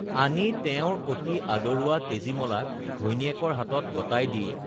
আনি তেওঁৰ অতি আদৰুৱা তেজীমলাক ঘৈনীয়েকৰ হাতত গতাই দি